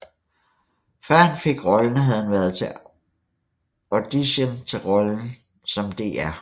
Før han fik rollen havde han været til audition til rollen som Dr